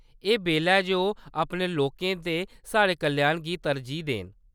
एह्‌‌ बेल्ला ऐ जे ओह्‌‌ अपने लोकें ते साढ़े कल्याण गी तरजीह् देन।